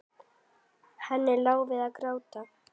Henni lá við gráti.